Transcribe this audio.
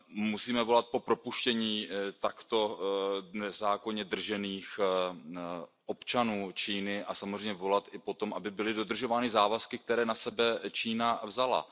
Musíme volat po propuštění takto nezákonně držených občanů Číny a samozřejmě volat i po tom, aby byly dodržovány závazky, které na sebe Čína vzala.